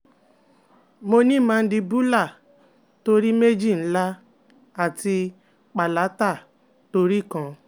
Mo ni mandibular tori meji nla ati palatal tori kan